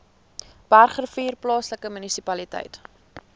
bergrivier plaaslike munisipaliteit